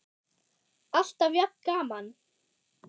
Alltaf jafn gaman!